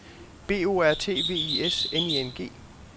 B O R T V I S N I N G